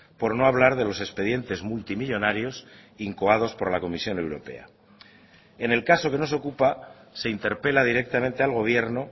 por no hablar de los expedientes multimillónarios incoados por la comisión europea en el caso que nos ocupa se interpela directamente al gobierno